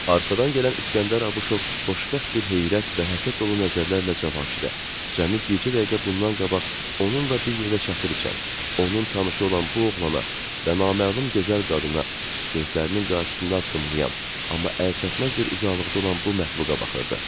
Arxadan gələn İskəndər Abışov xoşbəxt bir heyrət və həsəd dolu nəzərlərlə Cavanşirə, cəmi bircə dəqiqə bundan qabaq onunla bir yerdə çaxır içən, onun tanışı olan bu oğlana və naməlum gözəl qadına, gözlərinin qarşısında addımlayan, amma əlçatmaz bir uzaqlıqda olan bu məxluqa baxırdı.